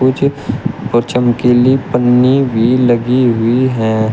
नीचे और चमकीली पन्नी भी लगी हुई है।